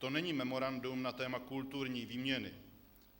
To není memorandum na téma kulturní výměny.